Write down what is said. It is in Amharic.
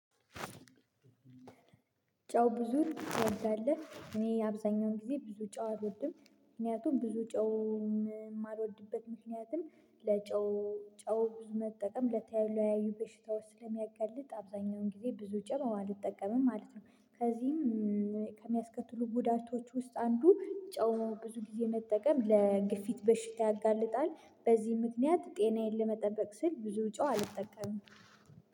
ጨው ብዙ ጨው አለ እኔ አብዛኛውን ጊዜ ብዙ ጨው አልወድም ምክንያቱም ብዙ ጨው የማልወድበት ምክንያትም ለጨው ጨው ብዙ መጠቀም ለተለ ያዩ በሽታዎች ስለሚያጋልጥ አብዛኛውን ጊዜ ብዙ ጨው አልጠቀምም ማለት ነው። ከዚህም ከሚያስከትሉ ጉዳቶች ውስጥ አንዱ ጨው ብዙ ጊዜ መጠቀም ለግፊት በሽታ ያጋልጣል። በዚህ ምክንያት ጤናዬን ለመጠበቅ ስል ብዙ ጨው አልጠቀምም